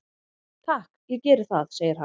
"""Takk, ég geri það, segir hann."""